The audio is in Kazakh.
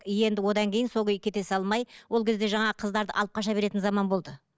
енді одан кейін сол күйі кете салмай ол кезде жаңағы қыздарды алып қаша беретін заман болды